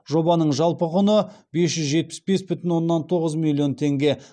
жобаның жалпы құны бес жүз жетпіс бес бүтін оннан тоғыз миллион теңге